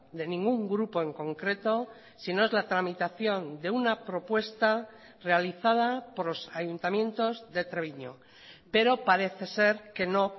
de ningún grupo en concreto sino es la tramitación de una propuesta realizada por los ayuntamientos de treviño pero parece ser que no